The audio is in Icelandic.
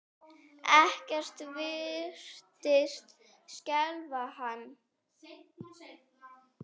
Ekkert virtist skelfa hann.